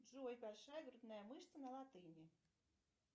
джой большая грудная мышца на латыни